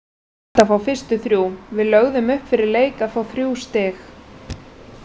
Frábært að fá fyrstu þrjú, við lögðum upp fyrir leik að fá þrjú stig.